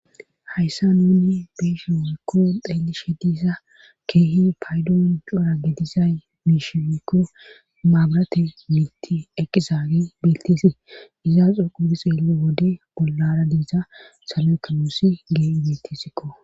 Hayssa nuni biishi wuykko xeelishe disa keehi paydoon cora gedizay biishiekko maabarate miitti eqqizaagi biltisi izaaxo qubudi xeello wode bollara diiza salo7ekamuusi gee bittisikko